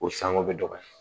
O sango bɛ dɔgɔya